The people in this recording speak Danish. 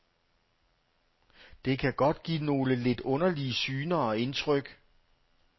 Det kan godt give nogle lidt underlige syner og indtryk.